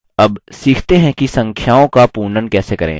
अब सीखते हैं कि संख्याओं का पूर्णन कैसे करें